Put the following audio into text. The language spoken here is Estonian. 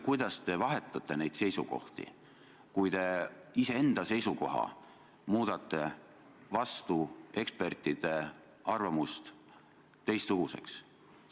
Kuidas te ikkagi vahetate oma seisukohti nii, et muudate vastu ekspertide arvamust oma seisukoha täiesti teistsuguseks?